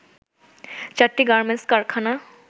চারটি গার্মেন্টস কারখানা